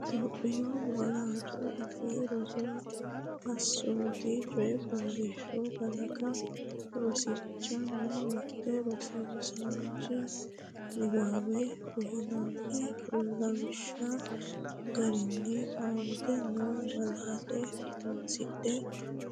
Itophiyu Malaatu Afii Roso Assoote Coyi fooliishsho kalaqa Rosiishsha Mite Rosiisaanchi’newiinni uyinanni’ne lawishshi garinni aante noo malaatta horoonsidhine